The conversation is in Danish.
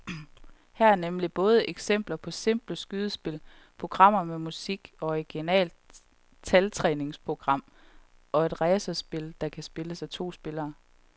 Her er nemlig både eksempler på simple skydespil, programmer med musik, et originalt taltræningsprogram og et racerspil, der kan spilles af to spillere.